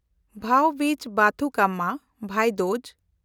ᱵᱷᱟᱣ-ᱵᱤᱡᱽ ᱵᱟᱛᱩᱠᱟᱢᱢᱟ (ᱵᱷᱟᱭ ᱫᱩᱡ)